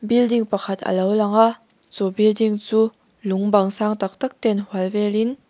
building pakhat a lo lang a chu building chu lung bang sang tak tak ten hual vel in.